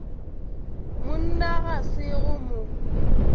monna ga se go mo